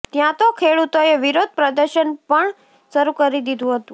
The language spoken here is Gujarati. ત્યાં તો ખેડૂતોએ વિરોધ પ્રદર્શન પણ શરૂ કરી દીધું હતું